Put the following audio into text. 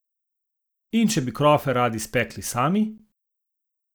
In če bi krofe radi spekli sami?